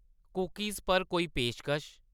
Cookies पर कोई पेशकश ?